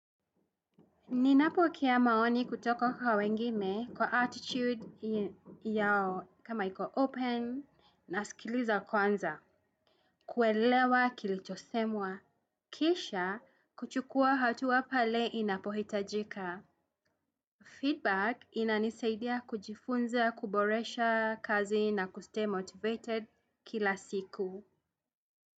Ninapokea maoni kutoko kwa wengime kwa attitude yao kama iko open nasikiliza kwanza. Kuelewa kilichosemwa. Kisha kuchukua hatua pale inapohitajika. Feedback inanisaidia kujifunza kuboresha kazi na kustay motivated kila siku.